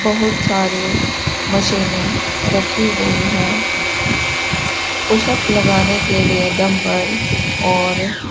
बहुत सारे मशीनें रखी गई हैं पुशअप लगने के लिए डम्बल और --